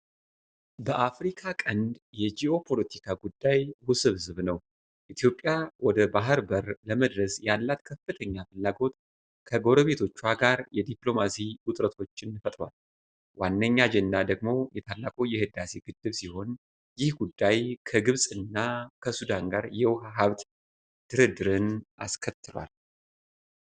በአፍሪካ ቀንድ የ ጂኦፖለቲካ ጉዳይ ውስብስብ ነው። ኢትዮጵያ ወደ ባሕር በር ለመድረስ ያላት ከፍተኛ ፍላጎት ከጎረቤቶቿ ጋር የዲፕሎማሲ ውጥረቶችን ፈጥሯል። ዋነኛ አጀንዳ ደግሞ የታላቁ የህዳሴ ግድብ ሲሆን፣ ይህ ጉዳይ ከግብፅና ከሱዳን ጋር የውሃ ሀብት ድርድርን አስከትሏል።